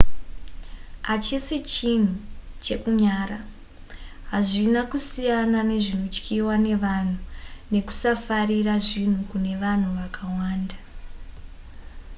hachisi chinhu chekunyara hazvina kusiyana nezvinotyiwa nevanhu nekusafarira zvinhu kune vanhu vakawanda